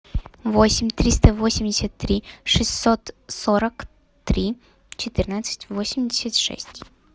восемь триста восемьдесят три шестьсот сорок три четырнадцать восемьдесят шесть